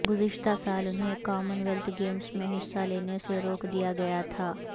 گزشتہ سال انہیں کامن ویلتھ گیمز میں حصہ لینے سے روک دیا گیا تھا